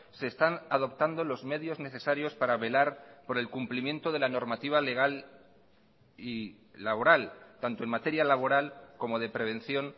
se están adoptando los medios necesarios para velar por el cumplimiento de la normativa legal y laboral tanto en materia laboral como de prevención